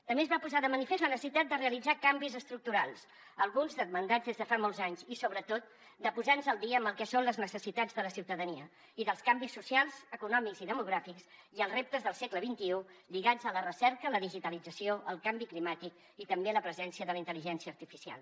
també es va posar de manifest la necessitat de realitzar canvis estructurals alguns demandats des de fa molts anys i sobretot de posar nos al dia en el que són les necessitats de la ciutadania i dels canvis socials econòmics i demogràfics i els reptes del segle xxi lligats a la recerca la digitalització el canvi climàtic i també la presència de la intel·ligència artificial